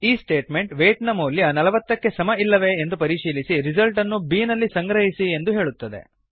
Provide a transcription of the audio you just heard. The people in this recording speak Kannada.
ಈ ಸ್ಟೇಟ್ಮೆಂಟ್ ವೇಯ್ಟ್ ನ ಮೌಲ್ಯ ೪೦ ಕ್ಕೆ ಸಮ ಇಲ್ಲವೇ ಎಂದು ಪರಿಶೀಲಿಸಿ ರಿಸಲ್ಟನ್ನು ಬಿ ನಲ್ಲಿ ಸಂಗ್ರಹಿಸಿ ಎಂದು ಹೇಳುತ್ತದೆ